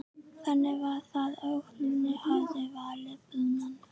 Þannig var það og Lúna hafði valið Brúnan.